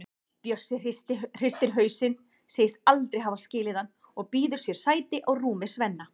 Bjössi hristir hausinn, segist aldrei hafa skilið hann og býður sér sæti á rúmi Svenna.